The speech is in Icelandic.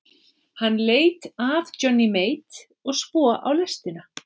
Hann leit af Johnny Mate og svo á lestina.